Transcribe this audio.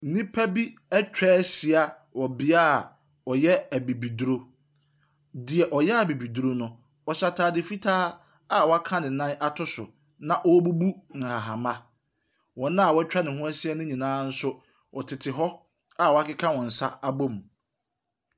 Nipa bi ɛtwahyia wɔ biaa ɔyɛ abibiduro. Deɛ ɔyɛ abibiduro no ɔhyɛ ataade fitaa a waka ne nan ato so na ɔrebubu ahahama. Wɔn a ɛtwa ne ho ɛhyia nyinaa nso ɔtete hɔ a wakeka wɔn sa abom.